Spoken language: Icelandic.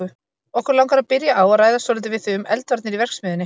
Okkur langar að byrja á að ræða svolítið við þig um eldvarnir í verksmiðjunni.